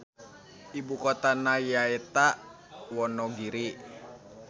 Ibukotana nyaeta Wonogiri.